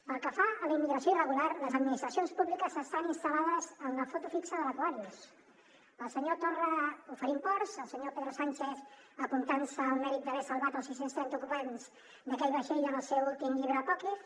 pel que fa a la immigració irregular les administracions públiques estan instal·lades en la foto fixa de l’sánchez apuntant se el mèrit d’haver salvat el sis cents i trenta ocupants d’aquell vaixell en el seu últim llibre apòcrif